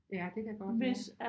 Ja det kan godt være